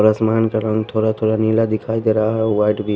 आसमान का रंग थोड़ा-थोड़ा नीला दिखाई दे रहा हैवाइट। वि --